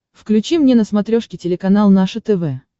включи мне на смотрешке телеканал наше тв